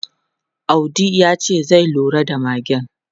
Audi ya ce zai lura da magen.